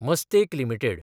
Mastek limited